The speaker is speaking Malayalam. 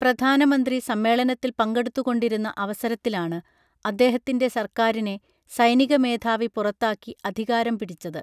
പ്രധാനമന്ത്രി സമ്മേളനത്തിൽ പങ്കെടുത്തു കൊണ്ടിരുന്ന അവസരത്തിലാണ് അദ്ദേഹത്തിൻ്റെ സർക്കാരിനെ സൈനിക മേധാവി പുറത്താക്കി അധികാരം പിടിച്ചത്